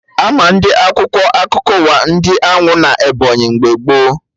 Ama ndị Akwụkwọ akụkọ ụwa ndị Anwụ na Ebọnyị mgbe gboo